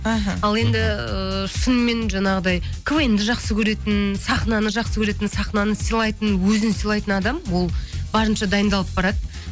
аха ал енді шынымен жаңағыдай квн ді жақсы көретін сахнаны жақсы көретін сахнаны сыйлайтын өзін сыйлайтын адам ол барынша дайындалып барады